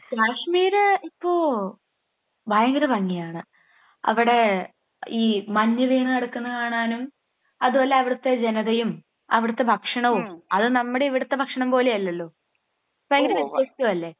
കാശ്മീർ ഇപ്പോ ഭയങ്കര ഭംഗിയാണ്. അവിടെ ഈ മഞ്ഞ് വീണ് കിടക്കുന്നത് കാണാനും അത് പോലെ അവിടുത്തെ ജനതയും അവിടുത്തെ ഭക്ഷണവും അത് നമ്മുടെ ഇവിടത്തെ ഭക്ഷണം പോലെ അല്ലല്ലോ. ഭയങ്കര വ്യത്യസ്തമല്ലേ.